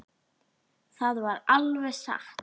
Það var alveg satt.